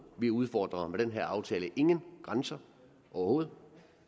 vi udfordrer med den her aftale ingen grænser overhovedet